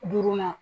Duurunan